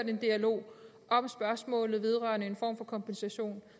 en dialog om spørgsmålet vedrørende en form for kompensation